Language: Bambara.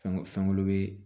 Fɛn fɛn wolo bɛ